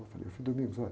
Eu falei, ôh, frei, olha.